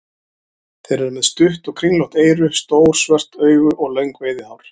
Þeir eru með stutt og kringlótt eyru, stór svört augu og löng veiðihár.